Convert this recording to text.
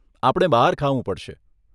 આપણે બહાર ખાવું પડશે.